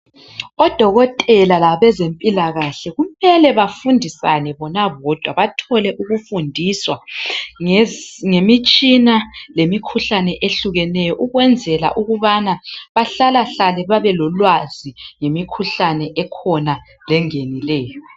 Odokotela labezempilakahle kumele bafundisane bona bodwa bathole ukufundiswa ngemitshina lemikhuhlane ehlukeneyo ukwenzela ukubana bahlalahlale belolwazi ngemikhuhlane engenileyo